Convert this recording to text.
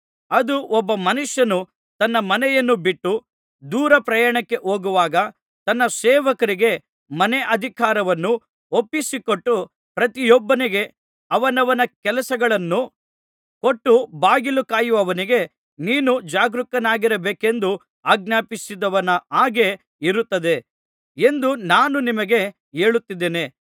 ಅದು ಒಬ್ಬ ಮನುಷ್ಯನು ತನ್ನ ಮನೆಯನ್ನು ಬಿಟ್ಟು ದೂರಪ್ರಯಾಣಕ್ಕೆ ಹೋಗುವಾಗ ತನ್ನ ಸೇವಕರಿಗೆ ಮನೇ ಅಧಿಕಾರವನ್ನು ಒಪ್ಪಿಸಿಕೊಟ್ಟು ಪ್ರತಿಯೊಬ್ಬನಿಗೆ ಅವನವನ ಕೆಲಸಗಳನ್ನು ಕೊಟ್ಟು ಬಾಗಿಲು ಕಾಯುವವನಿಗೆ ನೀನು ಜಾಗರೂಕನಾಗಿರಬೇಕೆಂದು ಆಜ್ಞಾಪಿಸಿದವನ ಹಾಗೆ ಇರುತ್ತದೆ ಎಂದು ನಾನು ನಿಮಗೆ ಹೇಳುತ್ತಿದ್ದೇನೆ